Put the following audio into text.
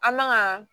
An man ka